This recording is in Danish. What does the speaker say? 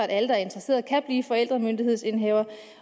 alle der er interesserede kan blive forældremyndighedsindehavere